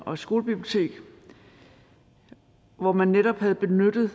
og et skolebibliotek og hvor man netop havde benyttet